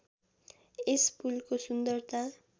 यस पुलको सुन्दरता